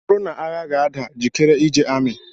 Ọ bụrụ na agha ga-ada, jikere ije amị